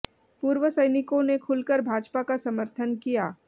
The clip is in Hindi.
पूर्व सैनिकों ने खुलकर भाजपा का समर्थन किया